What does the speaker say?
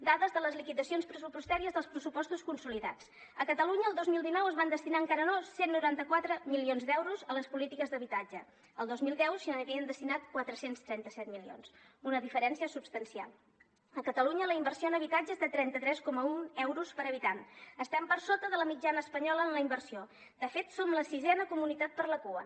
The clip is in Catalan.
dades de les liquidacions pressupostàries dels pressupostos consolidats a catalunya el dos mil dinou es van destinar encara no cent i noranta quatre milions d’euros a les polítiques d’habitatge el dos mil deu se n’hi havien destinat quatre cents i trenta set milions una diferència substancial a catalunya la inversió en habitatge és de trenta tres coma un euros per habitant estem per sota de la mitjana espanyola en la inversió de fet som la sisena comunitat per la cua